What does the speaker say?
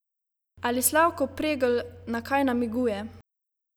Ali Slavko Pregl na kaj namiguje?